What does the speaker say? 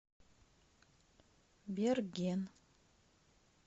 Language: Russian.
берген